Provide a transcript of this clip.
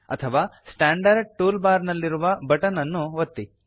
ಅಥವಾ standard tool bar ನಲ್ಲಿರುವ button ಅನ್ನು ಒತ್ತಿ